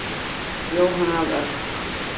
Jóhanna af Örk.